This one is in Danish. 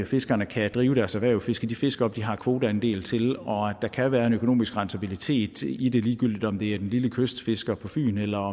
fiskerne kan drive deres erhverv og fiske de fisk op de har kvoteandel til og at der kan være en økonomisk rentabilitet i det ligegyldigt om det er den lille kystfisker på fyn eller